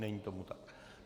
Není tomu tak.